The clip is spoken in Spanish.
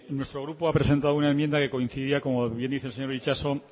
nuestro grupo ha presentado una enmienda que coincidía como bien dice el señor itxaso